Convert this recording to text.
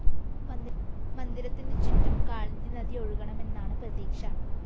മന്ദിരത്തിനു ചുറ്റും കാളിന്ദി നദിയൊഴുകണമെന്നാണ്‌ പ്രതീക്ഷ